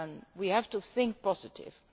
be ambitious we have to think